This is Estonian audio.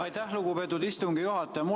Aitäh, lugupeetud istungi juhataja!